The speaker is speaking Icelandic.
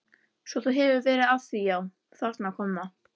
Svo þú hefur verið að því já, þarna kom það.